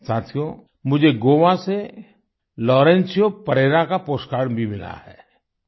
साथियो मुझे गोवा से लॉरेन्शियो परेरा का पोस्टकार्ड भी मिला है